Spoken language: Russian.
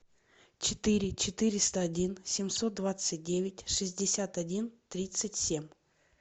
четыре четыреста один семьсот двадцать девять шестьдесят один тридцать семь